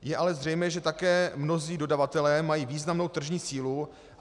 Je ale zřejmé, že také mnozí dodavatelé mají významnou tržní sílu.